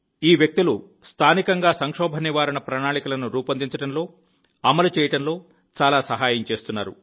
ఈ వ్యక్తులు స్థానికంగా సంక్షోభ నివారణ ప్రణాళికలను రూపొందించడంలో అమలు చేయడంలో చాలా సహాయం చేస్తున్నారు